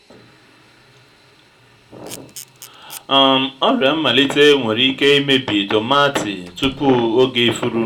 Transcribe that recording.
um ọrịa mmalite nwere ike imebi tomaatị tupu oge ifuru